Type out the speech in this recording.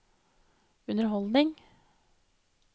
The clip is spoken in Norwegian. underholdning